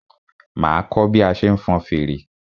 Máa kọ́ bí a ṣe ń fọn fèrè.